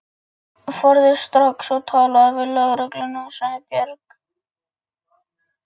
Farðu strax og talaðu við lögregluna, sagði Björg.